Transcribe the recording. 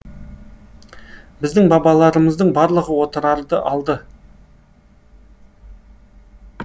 біздің бабаларымыздың барлығы отырарды алды